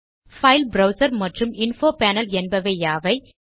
file browser மற்றும் info panel என்பவை யாவை